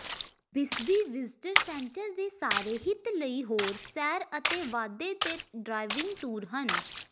Bisbee visitor centre ਦੇ ਸਾਰੇ ਹਿੱਤ ਲਈ ਹੋਰ ਸੈਰ ਅਤੇ ਵਾਧੇ ਅਤੇ ਡਰਾਇਵਿੰਗ ਟੂਰ ਹਨ